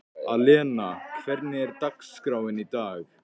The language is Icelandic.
Alena, hvernig er dagskráin í dag?